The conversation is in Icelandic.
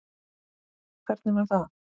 Hvernig var það?